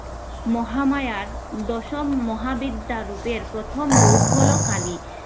মহামায়ার দশম মহাবিদ্যার রূপের প্রথম রূপ হলো কালী।